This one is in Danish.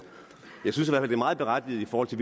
er meget berettiget i forhold til